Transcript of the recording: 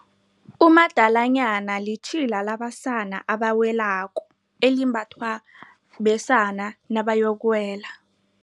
Umadalanyana litjhila labasana abawelako, elimbathwa besana nabayokuwela.